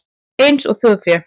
Eins og þjórfé?